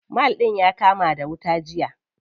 Mall ɗin ya kama da wuta jiya.